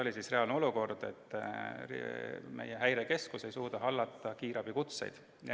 See oli reaalne olukord, et meie häirekeskus ei suutnud hallata kiirabikutseid.